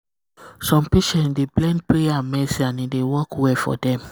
some patient dey blend prayer and medicine and e dey work well for dem.